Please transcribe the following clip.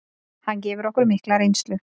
Hann gefur okkur mikla reynslu.